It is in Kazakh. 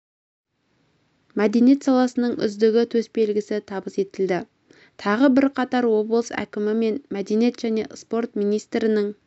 мәдениет саласының үздігі төсбелгісі табыс етілді тағы бірқатары облыс әкімі мен мәдениет және спорт министрінің